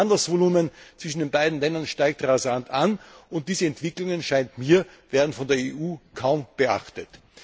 Das Handelsvolumen zwischen den beiden Ländern steigt rasant an, und diese Entwicklungen, so scheint mir, werden von der EU kaum beachtet.